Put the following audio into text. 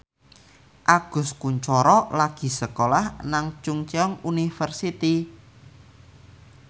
Agus Kuncoro lagi sekolah nang Chungceong University